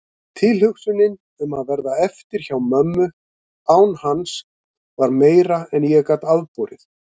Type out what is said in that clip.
Tilhugsunin um að verða eftir hjá mömmu án hans var meira en ég gat afborið.